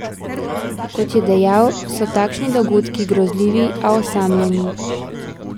Kot je dejal, so takšni dogodki grozljivi, a osamljeni.